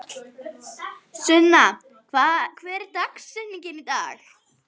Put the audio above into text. Það nýjasta er í byggingu næst honum.